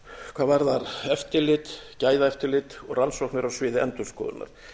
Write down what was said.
hvað varðar eftirlit gæðaeftirlit og rannsóknir á sviði endurskoðunar